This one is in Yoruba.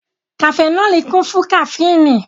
Kafẹnọli kún fún kaféìnì